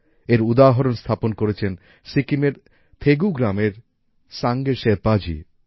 এর উদাহরণ স্থাপন করেছেন সিকিম এর থেগু গ্রামের সাঙ্গে শেরপাজি